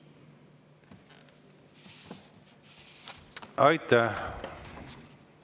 Aitäh!